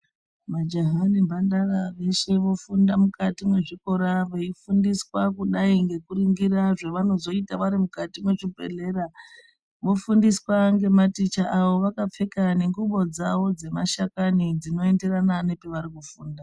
Majaha nemandara veshe vofunda mukati muzvikora, beyifundiswa kudai nekuringira zvavanozoita varimukati mezvibhedlera ,vofundiswa ngemateacher avo vakapfeka nenguwo dzavo dzemashakani dzinoenderana nepavarikufunda.